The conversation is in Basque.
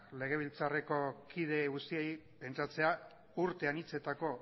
legebiltzarreko kide guztiei pentsatzea urte anitzetako